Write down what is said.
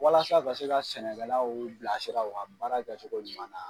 Walasa ka se ka sɛnɛkɛla bilasira u ka baara kɛgacogo ɲuman na.